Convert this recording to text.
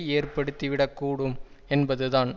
ஏற்படுத்தி விடக்கூடும் என்பதுதான்